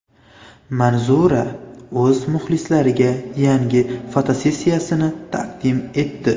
Manzura o‘z muxlislariga yangi fotosessiyasini taqdim etdi .